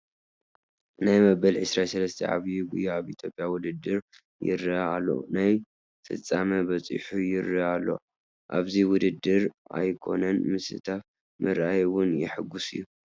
ናይ መበል 23 ዓብዪ ጉያ ኣብ ኢትዮጵያ ውድድር ይርአ ኣሎ፡፡ ናብ ፍፃመ በፂሑ ይርአ ኣሎ፡፡ ኣብዚ ውድድር ኣይኮነን ምስታፍ ምርኣይ እውን የሕጉስ እዩ፡፡